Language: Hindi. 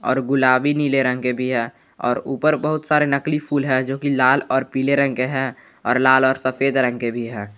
और गुलाबी नीले रंग के भी है और ऊपर बहुत सारे नकली फूल है जो कि लाल और पीले रंग है और लाल और सफेद रंग के भी है।